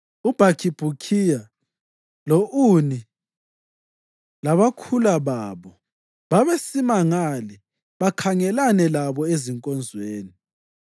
UBhakhibhukhiya lo-Uni, labakhula babo, babesima ngale bakhangelane labo ezinkonzweni.